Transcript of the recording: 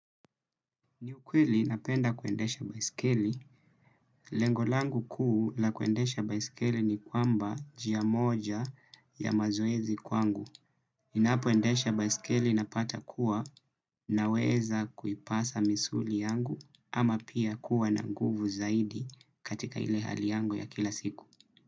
Ni ukweli napenda kuendesha baisikeli. Lengo langu kuu la kuendesha baisikeli ni kwamba njia moja ya mazoezi kwangu. Ninapoendesha baisikeli napata kuwa naweza kuipasa misuli yangu ama pia kuwa na nguvu zaidi katika ile hali yangu ya kila siku.